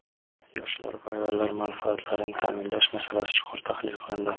Yoshlar va ayollar manfaatlarini ta’minlash masalasi chuqur tahlil qilindi.